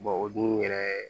o dun yɛrɛ